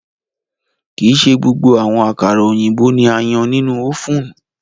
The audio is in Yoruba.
Kii ṣe gbogbo awọn akara oyinbo ni a yan ninu ovunu